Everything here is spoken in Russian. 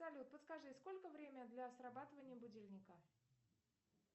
салют подскажи сколько время до срабатывания будильника